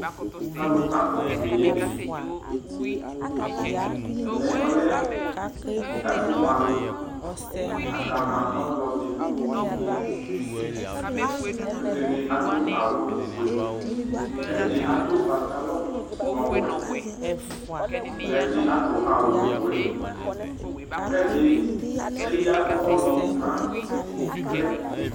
Alʋ akɔ poo ɛmɛ ɔlɛ ɛfʋ ma alʋ akama ɔlɔdi kʋ ɛdini adʋ awʋfue kʋ ɛdi adʋ patalɔ owʋɛ ɛdi adʋ awʋwɛ kʋ ɛdi eya ʋwɔ dʋnʋ alɛ